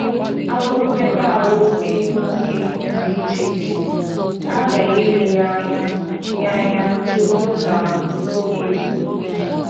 Agụụ nmekọahụ ehi nwoke dị iche iche, a ghaghị ile ya anya ya anya tupu na n’oge ịlụ.